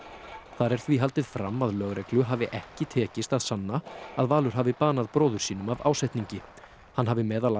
þar er því haldið fram að lögreglu hafi ekki tekist að sanna að Valur hafi banað bróður sínum af ásetningi hann hafi meðal